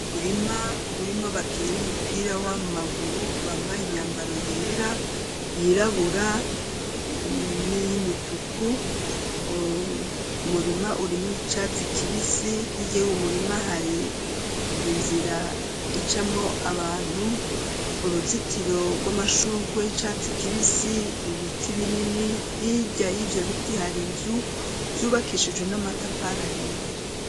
Umurima urimu abakinya umupira w'amaguru bambaye imyambaro yera, yirabura, n'iy'umutuku. Umurima urimwo icatsi kibisi hige umurima hari inzira icamwo abantu uruzitiro rw'amashuge, icatsi kibisi ibiti binini. Hirya y'ivyo biti hari nzu zubakishijwe n'amatafara hiye.